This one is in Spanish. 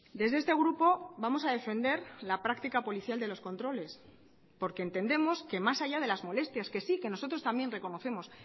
desde este grupo vamos a defender la práctica policial de los controles porque entendemos que más allá de las molestias que sí que nosotros también reconocemos